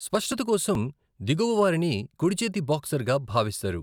స్పష్టత కోసం దిగువవారిని కుడిచేతి బాక్సర్గా భావిస్తారు.